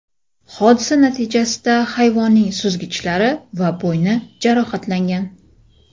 Hodisa natijasida hayvonning suzgichlari va bo‘yni jarohatlangan.